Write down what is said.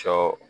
Sɔ